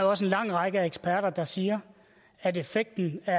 også en lang række eksperter der siger at effekten af